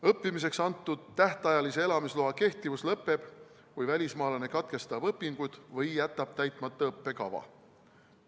Õppimiseks antud tähtajalise elamisloa kehtivus lõpeb, kui välismaalane katkestab õpingud või jätab õppekava täitmata.